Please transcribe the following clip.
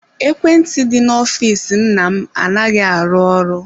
Ekwentị dị n'ọfịs nna m anaghị arụ ọrụ.